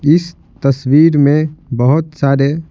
इस तस्वीर में बहुत सारे--